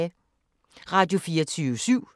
Radio24syv